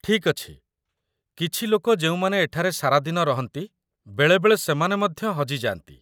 ଠିକ୍ ଅଛି, କିଛି ଲୋକ ଯେଉଁମାନେ ଏଠାରେ ସାରାଦିନ ରହନ୍ତି, ବେଳେବେଳେ ସେମାନେ ମଧ୍ୟ ହଜିଯାନ୍ତି